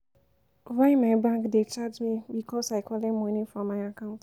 Why my bank dey charge me because I collect moni from my account.